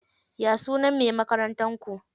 Ya sunan mai makarantar ku?